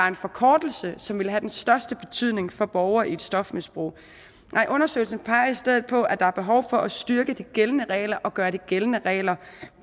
en forkortelse som vil have den største betydning for borgere i et stofmisbrug nej undersøgelsen peger i stedet på at der er behov for at styrke de gældende regler og gøre de gældende regler